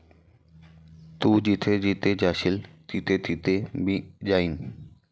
तू जिथेजिथे जाशील तिथेतिथे मी जाईन.